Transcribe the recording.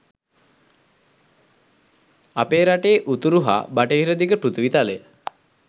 අපේ රටේ උතුරු හා බටහිර දිග පෘථිවි තලය